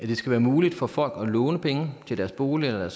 det skal være muligt for folk at låne penge til deres bolig eller